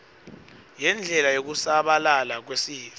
yendlela yekusabalala kwesitfo